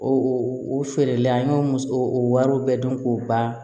O o feere la an y'o o wariw bɛɛ dɔn k'o ban